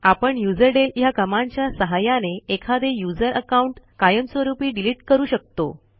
आपण युझरडेल ह्या कमांडच्या सहाय्याने एखादे यूझर अकाऊंट कायमस्वरूपी डिलीट करू शकतो